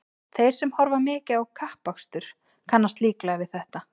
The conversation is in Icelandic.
Þeir sem horfa mikið á kappakstur kannast líklega við þetta.